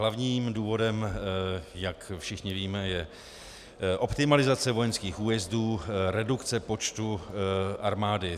Hlavním důvodem, jak všichni víme, je optimalizace vojenských újezdů, redukce počtu armády.